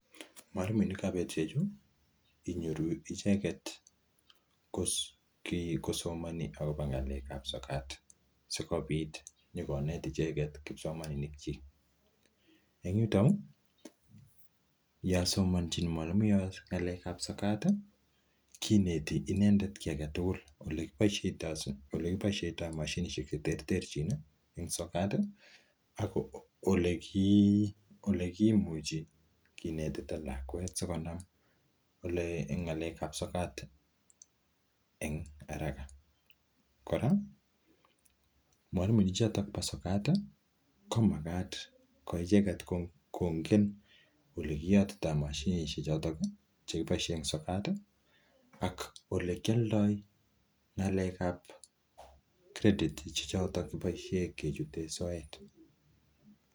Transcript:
Mwalimuinikab betusheju inyoru icheget kosomoni agobo ng'alekab sokat sikobit inyokonet icheget kipsomaninikyik. En yuto yon somanchi mwalimu inoto ng'alekab sokat kiineti inendet kiy age tugul. Ole kiboishoito mashinishek che terterchin en sokat ak ole kimuchi kinetita lakwet sikonam en ng'alekab sokat en haraka. Kora mwalimuek choto bo sokat komagat kongen ole kiyotito mashinishek choto che kiboisie en sokat ak ole kioldo ng'alekab credit choto kiboisie kichut soet.